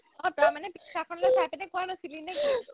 অ, তই মানে picture খনলে চাইপিনে কোৱা নাছিলি নে কি ?